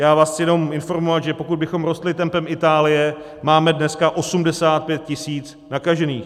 Já vás chci jenom informovat, že pokud bychom rostli tempem Itálie, máme dneska 85 tisíc nakažených.